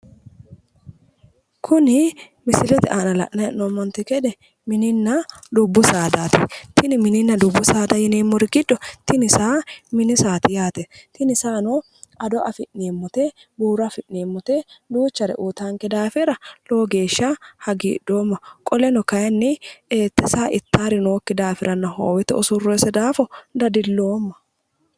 Kuni misilete aana la'nanni hee'noommonte gede dubbu saadaati. Tini mininna dubbu saada yineemmori giddo tini saa mini saati yaate. Tini saano ado afi'neemmote, buuro afi'neemmote duuchare uytaanke daafira lowo geeshsha hagiidhoomma qoleno kaayinni te saa ittaari noosekki daafiranna hoowete usurroonnise daafira dadiloomma.